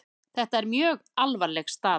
Þetta er mjög alvarleg staða.